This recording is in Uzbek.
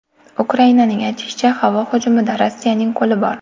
Ukrainaning aytishicha, havo hujumida Rossiyaning qo‘li bor.